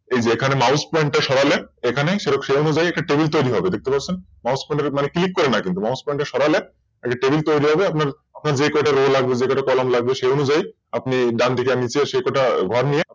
এই যে এখানে Mouse point টা সরালে এখানে সেই অনুযায়ী একটা Table তৈরি হবে দেখতে পাচ্ছেন মানে Mouse pointer এ Click করে না কিন্তু Mouse pointer সরালে একটা Table তৈরি হয়ে যাবে আপনার যে কটা Row column লাগবে সে অনুযায়ী আপনি ডান দিকে নিচে সে কটা ঘর নিতে পারবেন